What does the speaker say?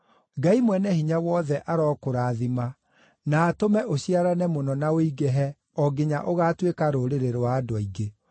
Ngai Mwene-Hinya-Wothe arokũrathima na atũme ũciarane mũno na ũingĩhe o nginya ũgaatuĩka rũrĩrĩ rwa andũ aingĩ.